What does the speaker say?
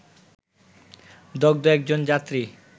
দগ্ধ একজন যাত্রী